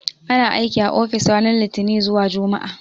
Ana aiki a ofis ranar Litini zuwa Jumma'a.